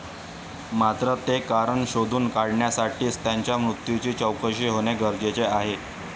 मात्र, ते कारण शोधून काढण्यासाठीच त्यांच्या मृत्यूची चौकशी होणे गरजेचे आहे.